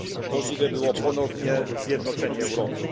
Możliwe było ponowne zjednoczenie Europy.